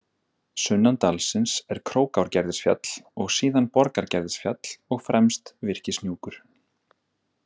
Sunnan dalsins er Krókárgerðisfjall og síðan Borgargerðisfjall og fremst Virkishnjúkur.